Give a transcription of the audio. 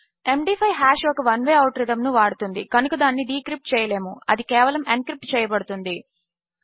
MD five hash ఒక one way algorithm ను వాడుతుంది కనుక దానిని డీక్రిప్ట్ చేయలేము అది కేవలము ఎన్క్రిప్ట్ చేయబడుతుంది